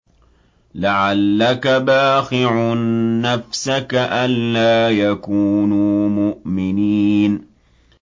لَعَلَّكَ بَاخِعٌ نَّفْسَكَ أَلَّا يَكُونُوا مُؤْمِنِينَ